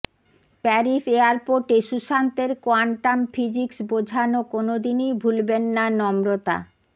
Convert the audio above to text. Paris এয়ারপোর্টে সুশান্তের quantum physics বোঝানো কোনওদিনই ভুলবেন না নম্রতা